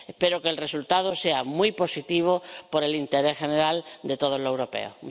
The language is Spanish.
Espero que el resultado sea muy positivo por el interés general de todos los europeos.